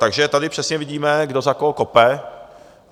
Takže tady přesně vidíme, kdo za koho kope.